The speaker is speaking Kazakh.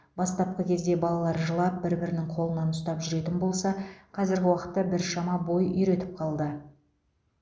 бастапқы кезде балалар жылап бір бірінің қолынан ұстап жүретін болса қазіргі уақытта біршама бой үйретіп қалды